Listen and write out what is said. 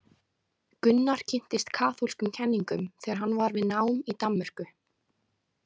Gunnar kynntist kaþólskum kenningum þegar hann var við nám í Danmörku.